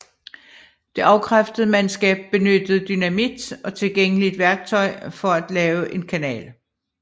Det afkræftede mandskab benyttede dynamit og tilgængeligt værktøj for at lave en kanal